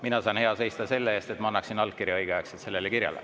Mina saan hea seista selle eest, et ma annaksin allkirja õigeaegselt sellele kirjale.